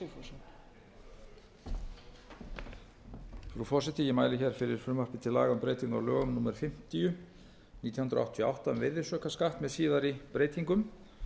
frú forseti ég mæli hér fyrir frumvarpi til laga um breyting á lögum númer fimmtíu nítján hundruð áttatíu og átta um virðisaukaskatt með síðari breytingum